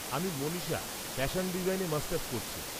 আমি মনীষা, ফ্যাশন ডিজাইনে মাস্টার্স করছি।